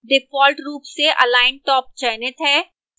default top से align top चयनित है